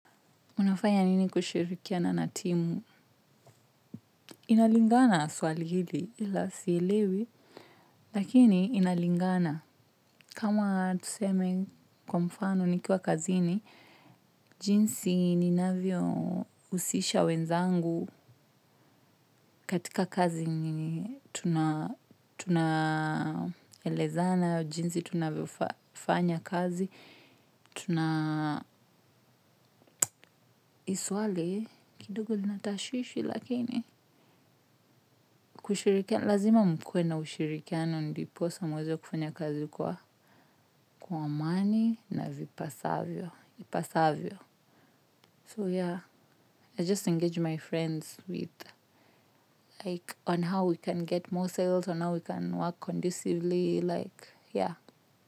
Unafaya nini kushirikia na na timu? Inalingana swali hili ila silewi, lakini inalingana. Kama tuseme kwa mfano nikiwa kazini, jinsi ninavyousisha wenzangu katika kazi nini tunaelezana, jinsi tunavyofanya kazi, tuna kidogo zina tashishi lakini kushirikia lazima mkuwe na ushirikiano ndiposa muweze kufanya kazi kwa kwa amani na vipasavyo vipasavyo. So yeah I just engage my friends with like on how we can get more sales on how we can work conducively like yeah.